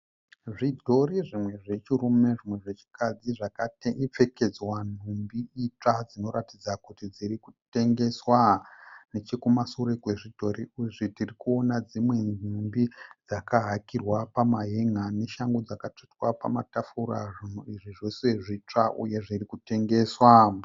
Zvidhori zvimwe zvechirume zvimwe zvechikadzi dzakapfekedzwa nhumbi itsva, dzinoratidza kuti dziri kutengeswa. Nechekumashure kwezvidhori izvi tirikuona dzimwe nhumbi dzakahakirwa pamahenga nebhutsu dzakatsvetwa pamatafura. Izvi zvose zvitsva uye zvirikutengeswa.